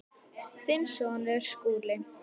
Þinn sonur, Skúli.